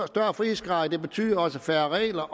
større frihedsgrader betyder også færre regler